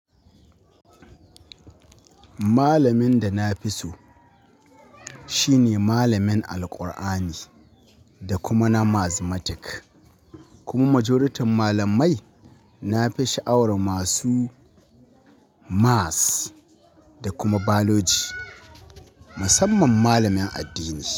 Malamin da na fi so shi ne malamin Alqur'ani da kuma na mathematics kuma majoriting malamai na fi sha'awar masu maths da kuma biology. Musamman malamin addini.